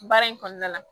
Baara in kɔnɔna la